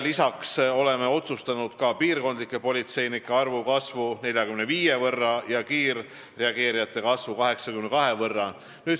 Lisaks oleme otsustanud, et piirkonnapolitseinike arv kasvab 45 võrra ja kiirreageerijate arv 82 võrra.